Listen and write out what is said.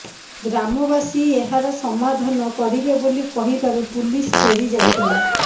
ଗ୍ରାମବାସୀ ଏହାର ସମାଧାନ କରିବେ ବୋଲି କହିବାରୁ ପୁଲିସ ଫେରି ଯାଇଥିଲା